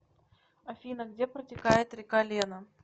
афина где протекает река лена